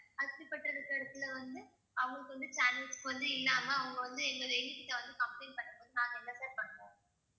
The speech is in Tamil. இடத்துல வந்து அவங்களுக்கு வந்து channels வந்து இல்லாம அவங்க வந்து எங்க ladies கிட்ட வந்து complaint பண்ணும் போது நாங்க என்ன sir பண்ணுவோம்